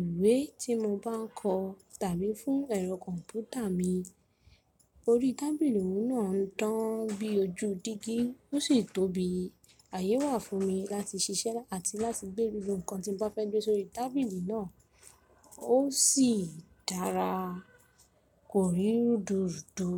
ìwé tí mo bá ń kọ tàbí fún ẹ̀rọ kọ̀m̀pútà mi. Orí tábìlì mi náà ń dán bí ojú dígí ó sì tóbi. Àyè wà fún mi láti ṣiṣẹ́ àti láti gbé lílò ǹkan tí mo bá fẹ́ gbé sórí tábìlì náà. Ó sì dára, kò rí rúdurùdu.